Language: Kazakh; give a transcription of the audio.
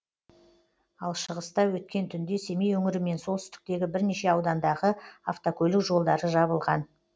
ал шығыста өткен түнде семей өңірі мен солтүстіктегі бірнеше аудандағы автокөлік жолдары жабылған